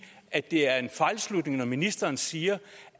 at det er en fejlslutning når ministeren siger